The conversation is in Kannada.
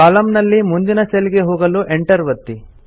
ಕಾಲಮ್ ನಲ್ಲಿ ಮುಂದಿನ ಸೆಲ್ ಗೆ ಹೋಗಲು Enter ಒತ್ತಿ